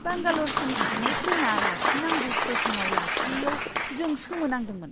बांगाल'रसिम थांनाय ट्रेनआ लाखिनांगौ स्टेस'नाव लाखियैयाव जों सोमोनांदोंमोन!